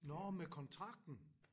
Nårh med kontrakten